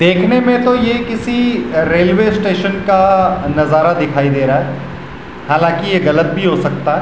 देखने में तो ये किसी रेल्वे स्टेशन का नजारा दिखाई दे रहा है हालांकि ये गलत भी हो सकता है।